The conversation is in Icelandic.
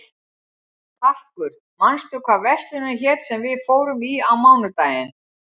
Karkur, manstu hvað verslunin hét sem við fórum í á mánudaginn?